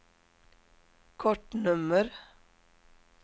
kortnummer